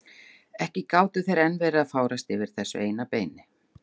Ekki gátu þeir enn verið að fárast yfir þessu eina beini!